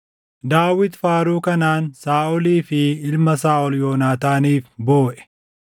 Daawit faaruu kanaan Saaʼolii fi ilma Saaʼol Yoonaataaniif booʼe;